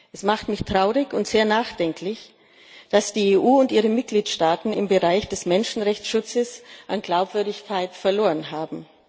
Es macht mich traurig und sehr nachdenklich, dass die EU und ihre Mitgliedstaaten im Bereich des Menschenrechtsschutzes an Glaubwürdigkeit verloren haben.